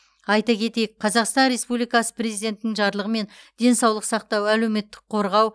айта кетейік қазақстан республикасы президентінің жарлығымен денсаулық сақтау әлеуметтік қорғау